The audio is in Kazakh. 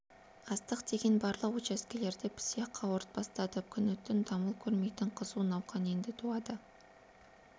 астық деген барлық участкелерде пісе қауырт бастады күні-түн дамыл көрмейтін қызу науқан енді туады